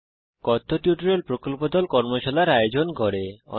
কথ্য টিউটোরিয়াল প্রকল্প দল কথ্য টিউটোরিয়াল ব্যবহার করে কর্মশালার আয়োজন করে